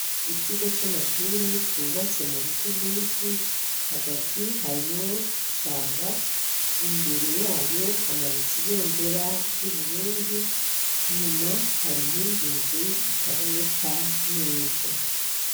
Ikigo c'amashure cubatse mu biti vyinshi hagati harimwo ishamba imbere yayo hamanitse ibendera ry'uburundi inyuma hari iyindi nzu itaboneka neza.